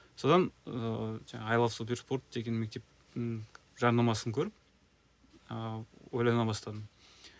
содан ыыы жаңағы ай лав суперспорт деген мектептің жарнамасын көріп ыыы ойлана бастадым